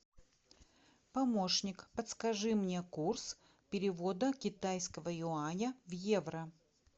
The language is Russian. помощник подскажи мне курс перевода китайского юаня в евро